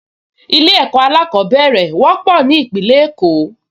Ilé-ẹ̀kọ́ alákọ̀ọ́bẹ̀rẹ̀ wọ́pọ̀ ní Ìpínlẹ̀ Èkó